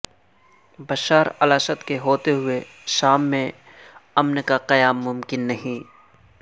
Bashar al-Assad کے ہوتے ہوئے شام میں امن کا قیام ممکن نہیں